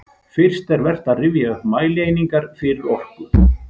Fyrst er vert að rifja upp mælieiningar fyrir orku.